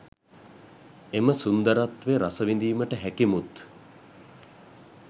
එම සුන්දරත්වය රසවිඳීමට හැකි මුත්